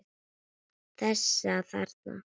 Þessa þarna!